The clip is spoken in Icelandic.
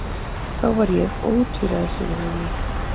Þá var ég ótvíræður sigurvegari.